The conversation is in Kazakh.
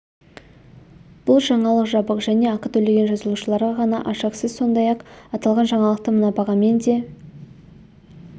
бұл жаңалық жабық және ақы төлеген жазылушыларға ғана ашық сіз сондай-ақ аталған жаңалықты мына бағамен де